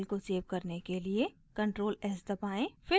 file को save करने के लिए ctrl+s दबाएं